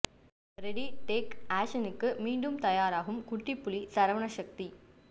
ready take ஆக்ஷனுக்கு மீண்டும் தயாராகும் குட்டி புலி சரவண சக்தி